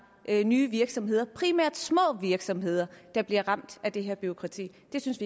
nye virksomheder primært små virksomheder vil blive ramt af det her bureaukrati det synes